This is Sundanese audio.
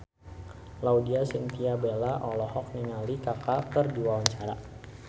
Laudya Chintya Bella olohok ningali Kaka keur diwawancara